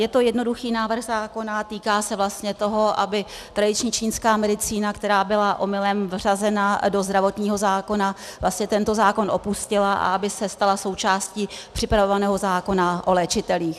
Je to jednoduchý návrh zákona, týká se vlastně toho, aby tradiční čínská medicína, která byla omylem vřazena do zdravotního zákona, vlastně tento zákon opustila a aby se stala součástí připravovaného zákona o léčitelích.